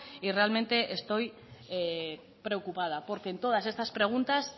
y realmente estoy preocupada porque en todas estas preguntas